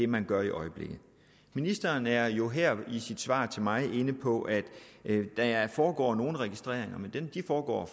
man gør i øjeblikket ministeren er jo her i sit svar til mig inde på at der foregår nogle registreringer men de foregår